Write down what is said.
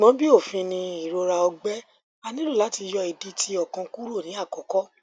ṣugbọn bi ofin ni irora ọgbẹ a nilo lati yọ idi ti okan kuro ni akọkọ